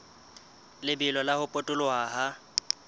lebelo la ho potoloha ha